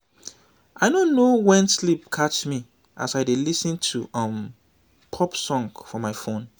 i no know wen sleep catch me as i dey lis ten to um pop song for my phone